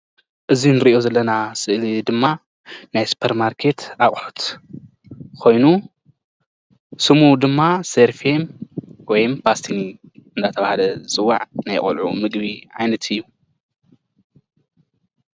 እዚ እንሪኦ ዘለና ስእሊ ድማ ናይ ስፖር ማርኬት ኣቁሕት ኮይኑ ስሙ ድማ ሰርፊን ወይ ባስተኒ እንዳተባሃለ ዝፅዋዕ ናይ ቆልዑ ምግቢ ዓይነት እዩ፡፡